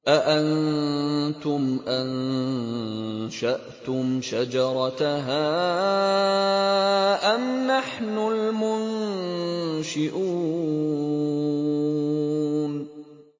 أَأَنتُمْ أَنشَأْتُمْ شَجَرَتَهَا أَمْ نَحْنُ الْمُنشِئُونَ